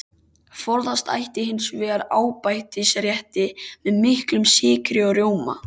Forðast ætti hins vegar ábætisrétti með miklum sykri og rjóma.